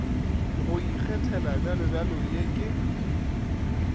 go ikgethela bjalobjalo ye ke